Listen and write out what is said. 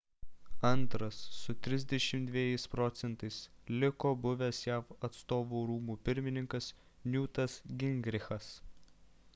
antras su 32 proc. liko buvęs jav atstovų rūmų pirmininkas newtas gingrichas